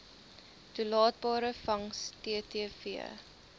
toelaatbare vangs ttv